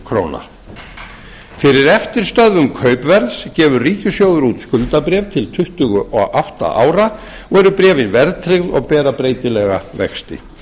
króna fyrir eftirstöðvum kaupverðs gefur ríkissjóður út skuldabréf til tuttugu og átta ára og eru bréfin verðtryggð og bera breytilega vexti